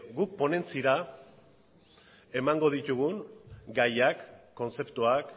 guk ponentziara emango ditugun gaiak kontzeptuak